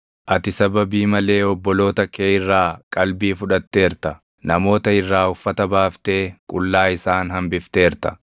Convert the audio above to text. Ati sababii malee obboloota kee irraa qabdii fudhatteerta; namoota irraa uffata baaftee qullaa isaan hambifteerta.